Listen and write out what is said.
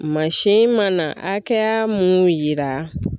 Mansin mana hakɛya mun yira